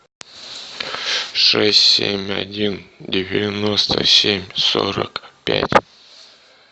шесть семь один девяносто семь сорок пять